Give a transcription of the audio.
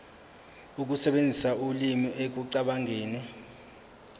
ukusebenzisa ulimi ekucabangeni